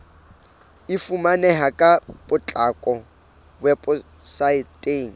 e fumaneha ka potlako weposaeteng